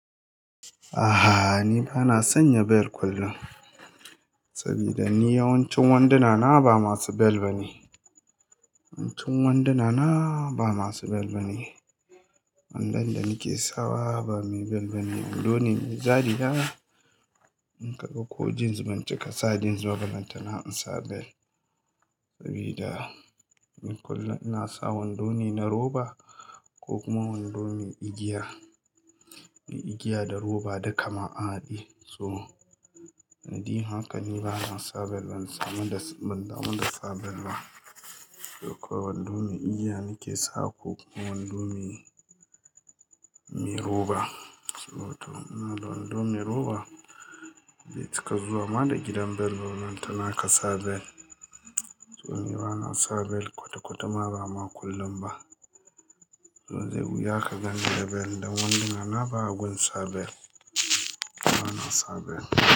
A'a, ni ba na sanya belt kullum. Saboda ni yawancin wanduna na ba masu bel ba ne. Yawancin wanduna na ba masu bel ba ne. Wandon da nake sawa ba mai bel ba ne. Wando ne mai zariya. In ka ga ko jeans ban cika sa jeans ba ballantana in sa bel. Sabida ni kullum ina sa wando ne na roba ko kuma wando mai igiya. Mai igiya da roba duka ma haɗe. So, niɗin haka ne ba na sa bel ba, ban sa das, ban damu, da sa bel ba. Ko kuwa wando mai igiya nake sawa ko kuma wando mai, mai roba. So to, ina da wando mai roba. Bai cika zuwa ma da gidan bel ballantana ka sa bel. To ni ba na sa bel kwata-kwata ma ba ma kullum ba. To zai wuya ka ganni da bel dan wanduna na ba a gun sa bel. Ba na sa bel.